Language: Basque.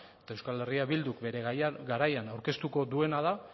eta euskal herria bilduk bere garaian aurkeztuko duena